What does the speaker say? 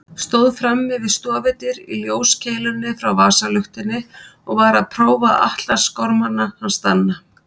Stóð frammi við stofudyr í ljóskeilunni frá vasaluktinni og var að prófa atlasgormana hans Danna.